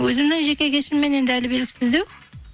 өзімнің жеке кешіммен енді әлі белгісіздеу